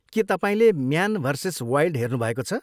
के तपाईँले man versus wild हेर्नुभएको छ?